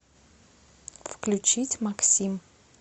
включить максим